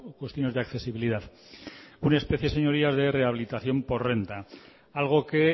cuestiones de accesibilidad una especie señorías de rehabilitación por renta algo que